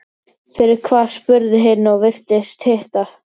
Fyrir hvað, spurði hin og virtist hissa.